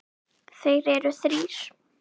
Þeir eru þrír